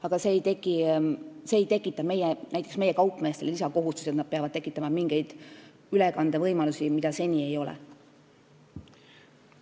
Aga see ei tekita näiteks meie kaupmeestele lisakohustusi, et nad peavad tekitama mingeid ülekandevõimalusi, mida seni ei ole olnud.